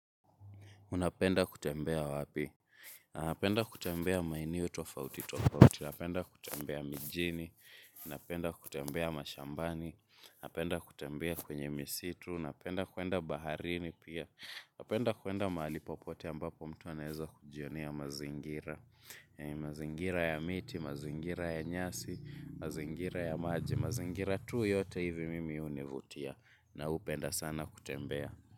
Unapenda kutembea wapi? Napenda kutembea maeneo tofauti, tofauti. Napenda kutembea mijini. Napenda kutembea mashambani. Napenda kutembea kwenye misitu. Napenda kwenda baharini pia. Napenda kwenda mahali popote ambapo mtu anaeza kujionea mazingira. Mazingira ya miti, mazingira ya nyasi, mazingira ya maji. Mazingira tu yote hivi mimi hunivutia. Na hupenda sana kutembea.